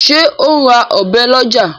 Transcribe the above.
ṣe o ń rà Ọ̀bẹ ló ọjà?